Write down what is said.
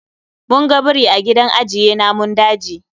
Mun ga biri a gidan ajiye namun daji